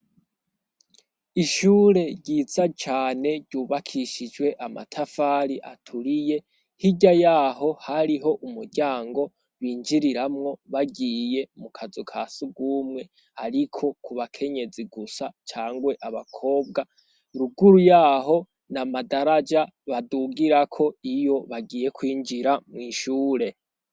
ishure ryiza cane ryubakishijwe amatafari aturiye hirya yaho hariho umuryango binjiriramwo bagiye mu kazu kasugumwe, ariko ku bakenyezi gusa cangwe abakobwa ruguru yaho na madaraja badugirako iyo bagiye kwinjira mwishure.